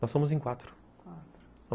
Nós somos em quatro, quatro...